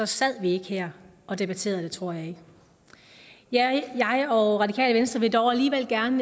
sad vi ikke her og debatterede det tror jeg ikke jeg jeg og radikale venstre vil dog alligevel gerne